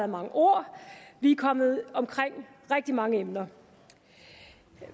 mange ord og vi er kommet omkring rigtig mange emner